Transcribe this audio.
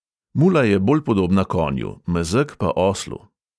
Mula je bolj podobna konju, mezeg pa oslu.